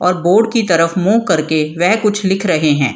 और बोर्ड की तरफ मुँह करके वेह कुछ लिख रहे हैं।